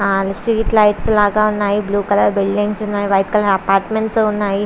ఆ street lights blue colour buildings ఉన్నాయి white colour apartments ఉన్నాయి.